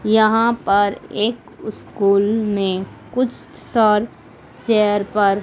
यहां पर एक स्कूल में कुछ सर चेयर पर--